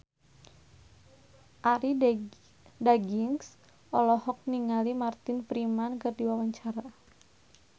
Arie Daginks olohok ningali Martin Freeman keur diwawancara